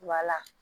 Wala